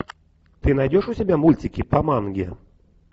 ты найдешь у себя мультики по манге